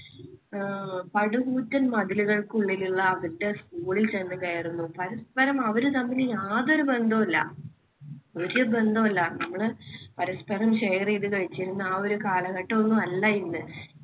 അഹ് പടുകൂറ്റൻ മതിലുകൾക്കുള്ളിലുള്ള അവരുടെ school ൽ ചെന്നു കയറുന്നു. പരസ്പരം അവര് തമ്മിൽ യാതൊരു ബന്ധവുമില്ല. ഒരു ബന്ധവുമില്ല നമ്മൾ പരസ്പരം share ചെയ്തു കഴിച്ചിരുന്ന ആ ഒരു കാലഘട്ടം ഒന്നുമല്ല ഇന്ന്.